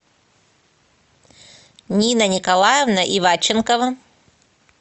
нина николаевна иванченкова